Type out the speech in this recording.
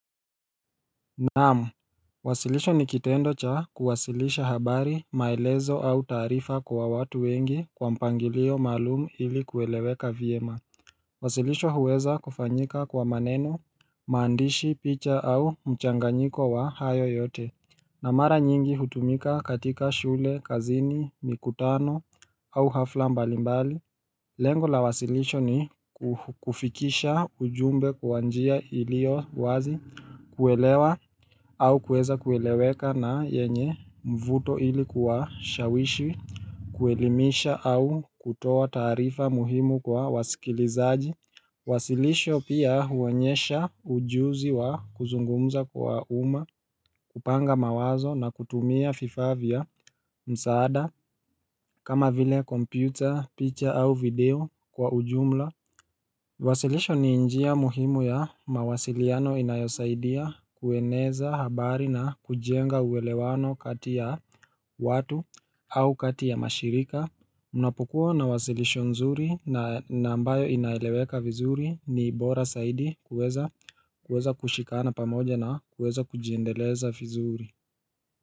Naam uwasilisho ni kitendo cha kuwasilisha habari maelezo au taarifa kwa watu wengi kwa mpangilio maalumu ili kueleweka vyema uwasilisho huweza kufanyika kwa maneno, maandishi, picha au mchanganyiko wa hayo yote na mara nyingi hutumika katika shule, kazini, mikutano au hafla mbalimbali Lengo la wasilisho ni kufikisha ujumbe kwa njia ilio wazi kuelewa au kueza kueleweka na yenye mvuto ili kuwashawishi kuelimisha au kutoa taarifa muhimu kwa wasikilizaji Wasilisho pia huonyesha ujuzi wa kuzungumza kwa umma kupanga mawazo na kutumia fifaa vya msaada kama vile kompyuta, picha au video kwa ujumla Wasilisho ni njia muhimu ya mawasiliano inayosaidia kueneza habari na kujenga uelewano kati ya watu au kati ya mashirika Unapokuwa na wasilisho nzuri na na ambayo inaeleweka vizuri ni bora saidi kuweza kushikana pamoja na kuweza kujiendeleza vizuri.